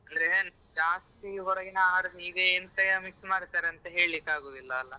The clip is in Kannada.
ಅಂದ್ರೆ ಈಗ ಜಾಸ್ತಿ ಹೊರಗಿನ ಆಹಾರಕ್ಕೆ ಈಗೆಂತ mix ಮಾಡ್ತಾರಂತ ಹೇಳಿಕ್ಕೆ ಆಗೂದಿಲ್ಲ ಅಲಾ.